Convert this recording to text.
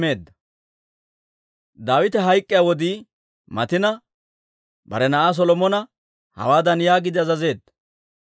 Daawite hayk'k'iyaa wodii matina, bare na'aa Solomona hawaadan yaagiide azazeedda;